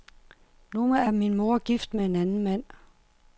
Nu er min mor gift med en anden mand.